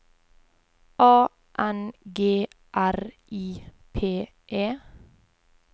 A N G R I P E